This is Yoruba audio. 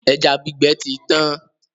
Ẹja gbígbẹ ti tán.